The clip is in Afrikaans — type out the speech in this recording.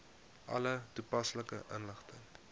alle toepaslike inligting